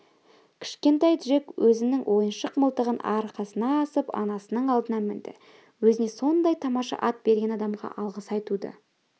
кішкентай джек өзінің ойыншық мылтығын арқасына асып анасының алдына мінді өзіне сондай тамаша ат берген адамға алғыс айтуды